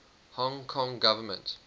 hong kong government